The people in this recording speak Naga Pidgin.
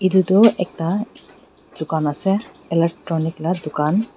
itu ekta dukan ase electronic la dukan.